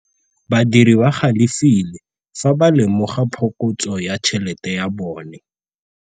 Badiri ba galefile fa ba lemoga phokotsô ya tšhelête ya bone.